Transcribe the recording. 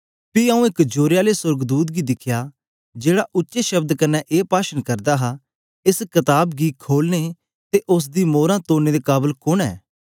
पी आऊँ एक जोरे आले सोर्गदूत गी दिखया जेहड़ा उच्चे शब्द कन्ने ए पाशन करदा हा एस कताब गी खोलने ते उस्स दी मोरां तोड़ने दे काबल कुन्न ऐ